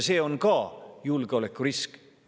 See on ka julgeolekurisk.